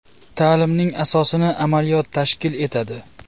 Ta’limning asosini amaliyot tashkil etadi.